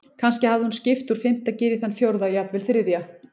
Kannski hafði hún skipt úr fimmta gír í þann fjórða, jafnvel þriðja.